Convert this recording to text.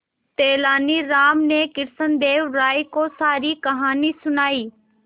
तेलानी राम ने कृष्णदेव राय को सारी कहानी सुनाई